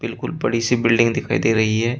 बड़ी सी बिल्डिंग दिखाई दे रही है।